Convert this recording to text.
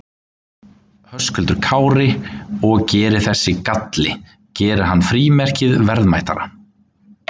Höskuldur Kári: Og, og gerir þessi galli, gerir hann frímerkið verðmætara?